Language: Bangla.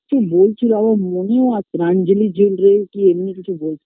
কি বলছিল আমার মনেও আসছে না আঞ্জলি jewelry কি এমনি কিছু বলছিল